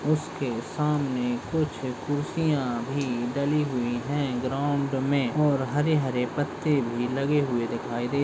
उसके सामने कुछ कुर्सियां भी डली हुई है ग्राउंड में और हरे-हरे पत्ते भी लगे हुए दिखाई दे --